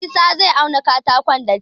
Isah zai auna katakon da tef